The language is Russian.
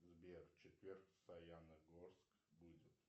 сбер четверг в саяногорск будет